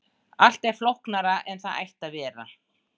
Allt er flóknara en það ætti að vera.